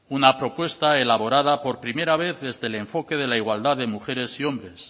una propuesta elaborada por primera vez desde el enfoque de la igualdad de mujeres y hombres